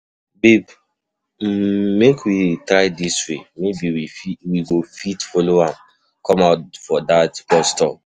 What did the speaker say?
Babe um make we try dis way maybe we go fit follow am come out fir dat bus stop.